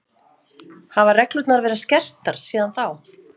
Hafa reglurnar verið skerptar síðan þá?